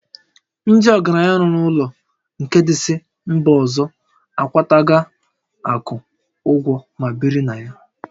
Ndị ọgaranya lụrụ ụlọ nke ndị si mba ọzọ a kwata ga akwụ ụgwọ ma biri na ya